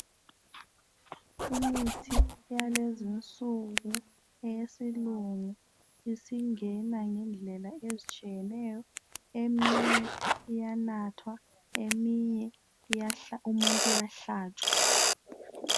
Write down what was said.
Initgi yakulezi insuku eyesilungu isingena ngendlela ezitshiyeneyo eminye iyanathwa eminye umuntu uyahlatshwa